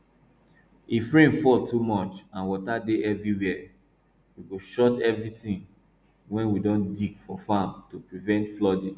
if rain fall too much and water dey everywhere we go shut everytin wey we don dig for farm to prevent flooding